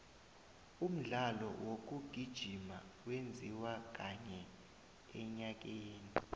umdlalo wokugijima wenziwa kanye enyakeni